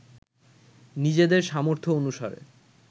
নিজেদের সামর্থ্য অনুসারে